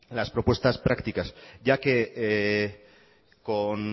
las propuestas prácticas ya que con